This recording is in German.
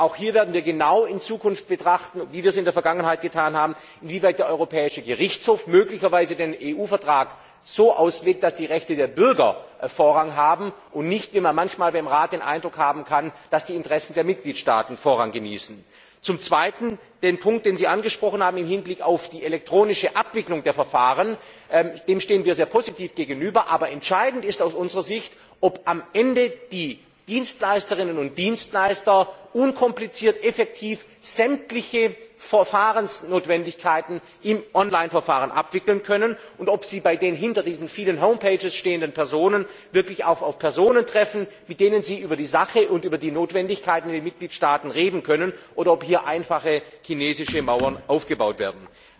Auch hier werden wir in Zukunft, wie wir es in der Vergangenheit getan haben, genau betrachten, inwieweit der Europäische Gerichtshof möglicherweise den EU Vertrag so auslegt, dass die Rechte der Bürger Vorrang haben und dass nicht immer wie man im Rat manchmal den Eindruck haben kann die Interessen der Mitgliedstaaten Vorrang genießen. Zum Zweiten Dem Punkt, den Sie im Hinblick auf die elektronische Abwicklung der Verfahren angesprochen haben, stehen wir sehr positiv gegenüber, aber entscheidend ist aus unserer Sicht, ob am Ende die Dienstleisterinnen und Dienstleister unkompliziert und effektiv sämtliche Verfahrensnotwendigkeiten im Online Verfahren abwickeln können und ob sie bei den hinter diesen vielen Homepages stehenden Personen wirklich auch auf Personen treffen, mit denen sie über die Sache und über die Notwendigkeiten in den Mitgliedstaaten reden können oder ob hier einfach chinesische Mauern aufgebaut werden.